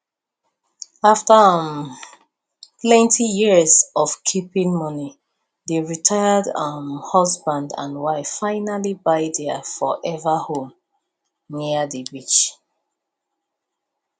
after um plenty years of keeping money the retired um husband and wife finally buy their forever home near the beach